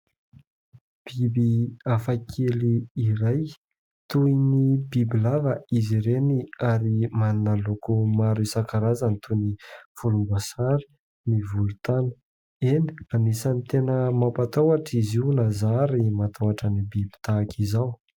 biby afakely iray toy ny biby lava izy ireny ary manana loko maro isakarazany toy ny folombasary ny volotana eny ranisany tena mampataohotra izy o nazary mataohotra ny biby tahaka izao